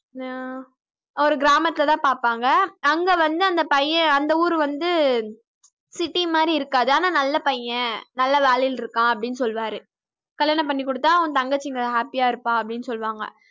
ஆஹ் அவர கிராமத்தில தான் பார்ப்பாங்க அங்க வந்து அந்தப் பையன் அந்த ஊரு வந்து city மாரி இருக்காது ஆனா நல்ல பையன் நல்ல வேலையில்ருக்கான் அப்படின்னு சொல்வாரு. கல்யாணம் பண்ணி கொடுத்தா உன் தங்கச்சி நல்லா happy யா இருப்பா அப்படின்னு சொல்லுவாங்க